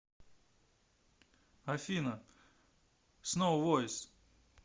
афина сноу войс